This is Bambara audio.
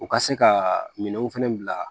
U ka se ka minɛnw fɛnɛ bila